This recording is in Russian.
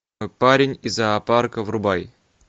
парень из зоопарка врубай